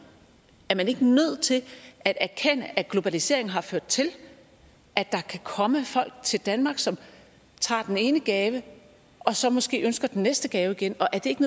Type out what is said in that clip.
er man ikke nødt til at erkende at globaliseringen har ført til at der kan komme folk til danmark som tager den ene gave og så måske ønsker den næste gave igen og er det ikke